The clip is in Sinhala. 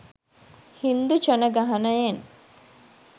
හින්දු ජනගහනයෙන් .